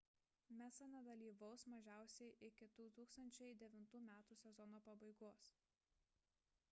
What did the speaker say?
massa nedalyvaus mažiausiai iki 2009 m sezono pabaigos